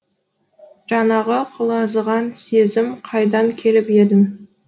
жаңағы құлазыған сезім қайдан келіп едің